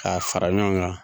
K'a fara ɲɔgɔn kan